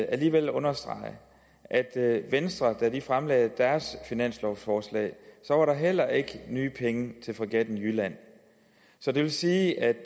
alligevel understrege det at da venstre fremlagde deres finanslovforslag var der heller ikke nye penge til fregatten jylland så det vil sige at